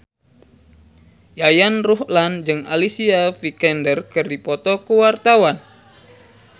Yayan Ruhlan jeung Alicia Vikander keur dipoto ku wartawan